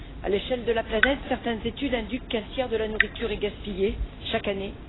À l'échelle de la planète, certaines études indiquent qu'un tiers de la nourriture est gaspillée chaque année.